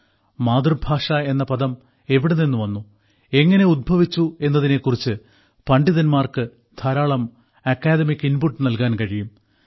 മാതൃഭാഷ എന്ന പദം എവിടെ നിന്ന് വന്നു എങ്ങനെ ഉത്ഭവിച്ചു എന്നതിനെ കുറിച്ച് പണ്ഠിതന്മാർക്ക് ധാരാളം അക്കാദമിക് ഇൻപുട്ട് നൽകാൻ കഴിയും